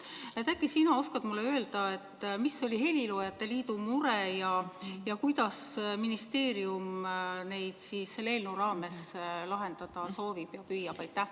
Äkki sina oskad mulle öelda, mis oli heliloojate liidu mure ja kuidas ministeerium seda selle eelnõu raames lahendada soovib ja püüab?